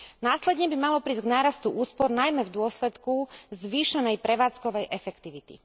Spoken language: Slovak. Následne by malo prísť k nárastu úspor najmä v dôsledku zvýšenej prevádzkovej efektivity.